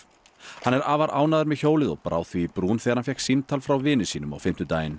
hann er afar ánægður með hjólið og brá því í brún þegar hann fékk símtal frá vini sínum á fimmtudaginn